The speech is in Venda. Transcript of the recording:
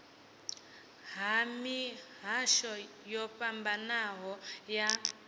ha mihasho yo fhambanaho ya